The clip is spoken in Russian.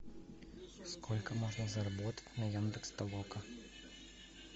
сколько можно заработать на яндекс толока